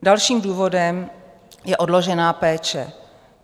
Dalším důvodem je odložená péče.